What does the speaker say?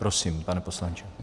Prosím, pane poslanče.